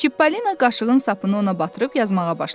Çippolina qaşığın sapını ona batırıb yazmağa başladı.